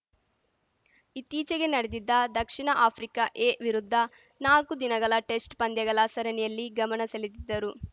ಕಲಾಭಿಮಾನಿಗಳು ಹೆಚ್ಚಿನದಾಗಿ ಭಾಗವಹಿಸಿ ಅಂಬರೀಶ್‌ ಆತ್ಮಕ್ಕೆ ಚಿರಶಾಂತಿ ಕೋರಬೇಕೆಂದು ಪ್ರತಿಷ್ಠಾನ ಅಧ್ಯಕ್ಷ ಚಂದ್ರಗಿರಿ ದಿನೇಶ್‌ ತಿಳಿಸಿದ್ದಾರೆ